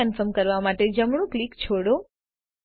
frame confirm કરવા માટે જમણું ક્લિક છોડો